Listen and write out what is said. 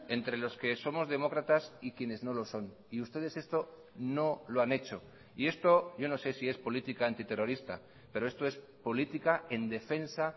entre los que somos demócratas y quienes no lo son y ustedes esto no lo han hecho y esto yo no sé si es política antiterrorista pero esto es política en defensa